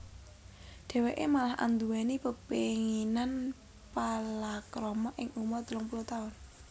Dhèwèké malah anduwèni pepénginan palakrama ing umur telung puluh taun